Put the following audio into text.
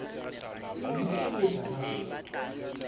mme ka ho etsa jwalo